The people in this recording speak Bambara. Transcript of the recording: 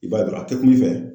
I b'a dɔ a kɛtogo fɛ